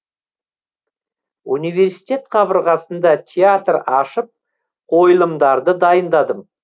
университет қабырғасында театр ашып қойылымдарды дайындадым